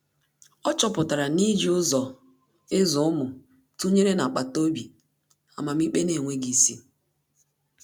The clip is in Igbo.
Ọ́ chọ́pụ̀tárà na íjí ụ́zọ́ ị́zụ́ ụ́mụ́ tụnyere nà-ákpàtà obi amamikpe n’énwéghị́ isi.